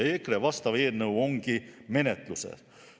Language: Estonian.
EKRE vastav eelnõu ongi menetluses.